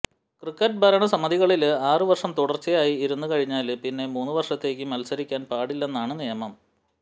cricket ഭരണസമിതികളില് ആറ് വര്ഷം തുടര്ച്ചയായി ഇരുന്ന് കഴിഞ്ഞാല് പിന്നെ മൂന്ന് വര്ഷത്തേക്ക് മത്സരിക്കാന് പാടില്ലെന്നാണ് നിയമം